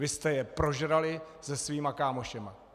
Vy jste je prožrali se svými kámoši!